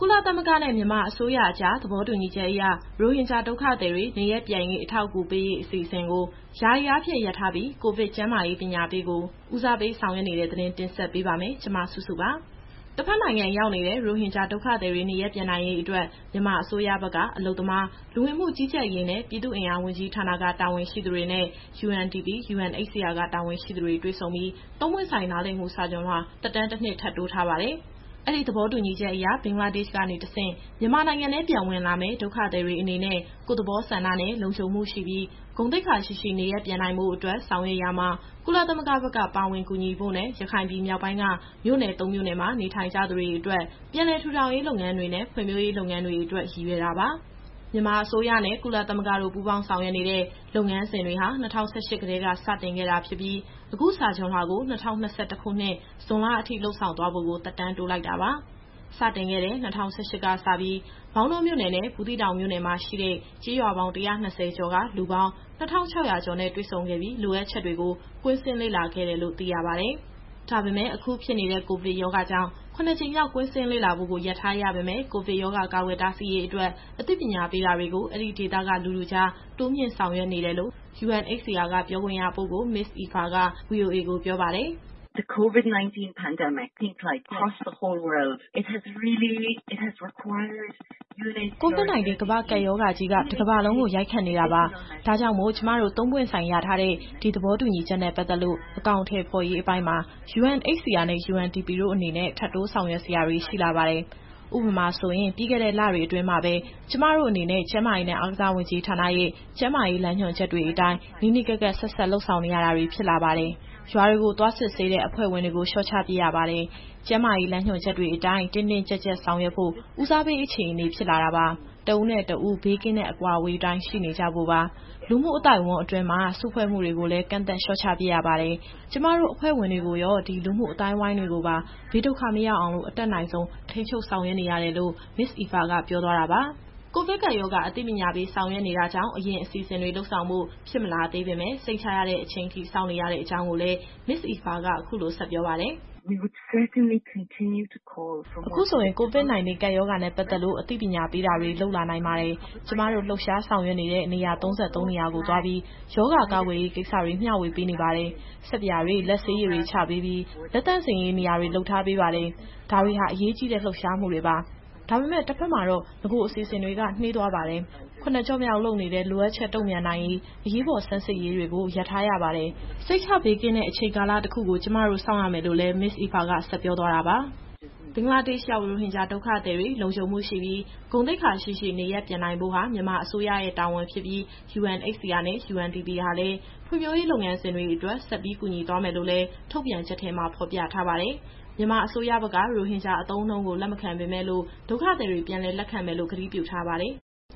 လသမဂ္ဂနဲ့ မြန်မာအစိုးရအကြားသဘောတူညီချက်အရ ရိုဟင်ဂျာ ဒုက္ခသည်တွေ နေရပ်ပြန်ရေး အထောက်အကူပေးရေး အစီအစဉ်ကို ယာယီအားဖြင့် ရပ်ထားပြီး၊ ကိုဗစ် ကျန်းမာရေးပညာပေးကို ဦးစားပေးဆောင်ရွက်နေတဲ့သတင်းကို မစုစုက တင်ဆက်ပေးပါမယ်။ တဘက်နိုင်ငံရောက်နေတဲ့ ရိုဟင်ဂျာဒုက္ခသည်တွေ နေရပ်ပြန်ရေးအတွက် မြန်မာအစိုးရဘက်က အလုပ်သမား၊ လူဝင်မှုကြီးကြပ်ရေးနဲ့ ပြည်သူ့အင်အားဝန်ကြီးဌာနက တာဝန်ရှိသူတွေနဲ့UNDP ၊UNHCR ကတာဝန်ရှိသူတွေ တွေ့ဆုံပြီး သုံးပွင့်ဆိုင်နားလည်မှု စာချွန်လွှာသက်တမ်းတနှစ်ထပ်တိုးထားပါတယ်။ အဲဒီသဘောတူညီချက်အရဘင်္ဂလားဒေ့ရှ်ကနေတဆင့် မြန်မာနိုင်ငံထဲပြန်ဝင်လာမယ့် ဒုက္ခသည်တွေအနေနဲ့ ကိုယ့်သဘောဆန္ဒနဲ့ လုံခြုံမှုရှိပြီး ဂုဏ်သိက္ခာရှိရှိ နေရပ်ပြန်နိုင်ဖို့အတွက် ဆောင်ရွက်ရာမှာ ကုလသမဂ္ဂဘက်က ပါဝင်ကူညီဖို့နဲ့ ရခိုင်ပြည်မြောက်ပိုင်းက မြို့နယ်သုံးမြို့နယ်မှာ နေထိုင်ကြတဲ့သူတွေအတွက် ပြန်လည်ထူထောင်ရေးလုပ်ငန်းတွေနဲ့ ဖွံ့ဖြိုးတိုးတက်ရေး လုပ်ငန်းတွေအတွက် ရည်ရွယ်တာပါ။ မြန်မာအစိုးရနဲ့ ကုလသမဂ္ဂတို့ပူးပေါင်းဆောင်ရွက်နေတဲ့ လုပ်ငန်းစဉ်တွေဟာ ၂၀၁၈ ကတည်းကစတင်ခဲ့တာဖြစ်ပြီး၊ အခုစာချွန်လွှာကို ၂၀၂၁ခုနှစ်၊ ဇွန်လအထိလုပ်ဆောင်သွားဖို့ကို သက်တမ်းတိုးလိုက်တာပါ။ စတင်ခဲ့တဲ့ ၂၀၁၈ ကစပြီး မောင်တောမြို့နယ်နဲ့ ဘူးသီးတောင်မြို့နယ်မှာရှိတဲ့ ကျေးရွာပေါင်း ၁၂၀ကျော်က လူပေါင်း ၂၆၀၀ ကျော်နဲ့ တွေ့ဆုံခဲ့ပြီး လိုအပ်ချက်တွေကို ကွင်းဆင်းလေ့လာခဲ့တယ်လို့ သိရပါတယ်။ ဒါပေမယ့် အခုဖြစ်နေတဲ့ ကိုဗစ်ကပ်ရောဂါကြောင့် ၇ကြိမ်မြောက် ကွင်းဆင်းလေ့လာဖို့ကို ရပ်ထားရပေမယ့် ကိုဗစ်ရောဂါကာကွယ်တားဆီးရေးအတွက် အသိပညာပေးတာတွေကို အဲဒီဒေသက လူထုကြား တိုးမြှင့်ဆောင်ရွက်နေတယ်လို့ UNHCR က ပြောခွင့်ရပုဂ္ဂိုလ် Ms. Aoife က VOA ကိုပြောပါတယ်။ “COVID-19 ကမ္ဘာကပ်ရောဂါကြီး တကမ္ဘာလုံးကို ရိုက်ခတ်နေတာပါ။ ဒါကြောင့် ကျမတို့ သုံးပွင့်ဆိုင်ရထားတဲ့ ဒီသဘောတူညီချက်နဲ့ပတ်သက်လို့ အကောင်အထည်ဖော်ရေးပိုင်းမှာUNHCR နဲ့ UNDP တို့အနေနဲ့ ထပ်တိုးဆောင်ရွက်စရာတွေရှိလာပါတယ်။ ဥပမာဆိုရင် ပြီးခဲ့တဲ့လတွေအတွင်းမှာပဲ ကျမတို့အနေနဲ့ ကျန်းမာရေးနဲ့အားကစားဝန်ကြီးဌာနရဲ့ ကျန်းမာရေးလမ်းညွှန်ချက်အတိုင်း နီးနီးကပ်ကပ် ဆက်စပ်လုပ်ကိုင်ရတာတွေဖြစ်လာပါတယ်။ ရွာတွေကို သွားစစ်ဆေးရတဲ့ အဖွဲ့ဝင်တွေကို လျှော့ချပစ်ရပါတယ်။ ကျန်းမာရေးလမ်းညွှန်ချက်တွေအတိုင်း တင်းတင်းကြပ်ကြပ်ဆောင်ရွက်ဖို့ ဦးစားပေး အခြေအနေဖြစ်လာပါတယ်။ တဦးနဲ့တဦး ဘေးကင်းတဲ့အကွာအဝေးအတိုင်းရှိနေကြဖို့ပါ။ လူမှုအသိုက်အဝိုင်းအတွင်း စုဖွဲ့မှုတွေကိုလည်း ကန့်သတ် လျှော့ချ ပစ်ရပါတယ်။ ကျမတို့ အဖွဲ့ဝင်တွေကိုရော လူမှုအဝန်းအဝိုင်းတွေကိုပါ ဘေးဒုက္ခမရောက်အောင် အတတ်နိုင်ဆုံး ထိန်းချုပ်ဆောင်ရွက်ရတာပါ။” ကိုဗစ်ကပ်ရောဂါ အသိပညာပေးဆောင်ရွက်နေတာကြောင့် အရင်အစီအစဉ်တွေလုပ်ဆောင်ဖို့ ဖြစ်မလာသေးပေမယ့် စိတ်ချရတဲ့အချိန်အထိ စောင့်နေရတဲ့အကြောင်းကိုလည်း Ms. Aoife က အခုလို ဆက်ပြောပါတယ်။ “အခုဆိုရင် COVID-19 ကပ်ရောဂါနဲ့ပတ်သက်လို့ အသိပညာပေးတာတွေကို လုပ်လာနိုင်ပါတယ်။ ကျမတို့ လှုပ်ရှားဆောင်ရွက်နေတဲ့ နေရာ ၃၃ နေရာကိုသွားပြီး ရောဂါကာကွယ်ရေးကိစ္စတွေ မျှဝေပေးနေပါတယ်။ ဆပ်ပြာတွေ လက်ဆေးရည်တွေချပေးပြီး လက်သန့်စင်ရေး နေရာတွေလုပ်ထားပေးပါတယ်။ ဒါတွေဟာ အရေးကြီးတဲ့လှုပ်ရှားမှုတွေပါ ။ ဒါပေမယ့် တဘက်မှာ နဂိုအစီအစဉ်တွေနှေးကွေးသွားပါတယ်။ ၇ကျော့မြောက်လုပ်နေတဲ့ လိုအပ်ချက်တုန့်ပြန်နိုင်ရေးအရေးပေါ် ဆန်းစစ်ရေးတွေကို ရပ်ထားရပါတယ်။ စိတ်ချဘေးကင်းတဲ့အချိန်ကာလတခုအထိ ကျမတို့ စောင့်ရပါမယ်။” ဘင်္ဂလားဒေ့ရှ်ရောက် ရိုဟင်ဂျာဒုက္ခသည်တွေ လုံခြုံမှုရှိပြီး ဂုဏ်သိက္ခာရှိရှိ နေရပ်ပြန်နိုင်ဖို့ဟာ မြန်မာအစိုးရရဲ့တာဝန်ဖြစ်ပြီး UNHCR နဲ့ UNDP ဟာလည်း ဖွံ့ဖြိုးရေးလုပ်ငန်းစဉ်တွေ အတွက် ဆက်ပြီးကူညီသွားမယ်လို့လည်း ထုတ်ပြန်ချက်ထဲမှာဖော်ပြထားပါတယ်။ မြန်မာအစိုးရဘက်က ရိုဟင်ဂျာအသုံးအနှုံးကို လက်မခံပေမယ့်လို့ ဒုက္ခသည်တွေ ပြန်လည်လက်ခံမယ်လို့ ကတိပြုထားပါတယ်။